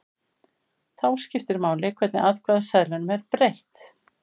Þá skiptir máli hvernig atkvæðaseðlinum er breytt.